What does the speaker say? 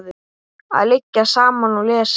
Að liggja saman og lesa.